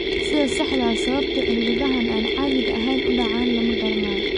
Sida saxda ah sababta cilladahan aan caadiga ahayn u dhacaan lama garanayo.